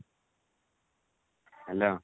hello